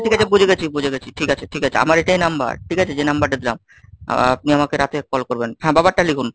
ও ও ঠিক আছে, বুঝে গেছি বুঝে গেছি, ঠিক আছে, ঠিক আছে আমার এটাই number ঠিক আছে যে number টা দিলাম, আপনি আমাকে রাতে call করবেন হ্যাঁ বাবারটা লিখুন।